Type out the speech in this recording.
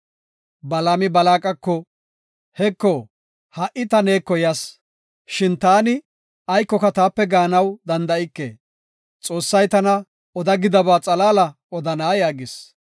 Balaami Balaaqako, “Heko, ha77i ta neeko yas; shin ta aykoka taape gaanaw danda7ike. Xoossay tana oda gidaba xalaala odana” yaagis.